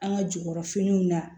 An ka jukɔrɔ finiw na